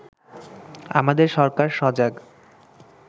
আমাদের সরকার সজাগ